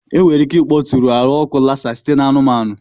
Enwere ike ịkpọtụrụ ahụ ọkụ Lassa site na anụmanụ.